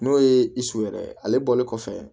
N'o ye yɛrɛ ye ale bɔlen kɔfɛ